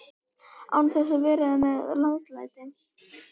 Án þess að vera með látalæti.